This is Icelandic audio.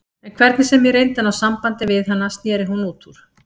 En hvernig sem ég reyndi að ná sambandi við hana sneri hún útúr.